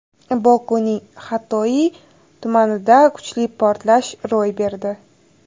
Bokuning Xatoiy tumanida kuchli portlash ro‘y berdi.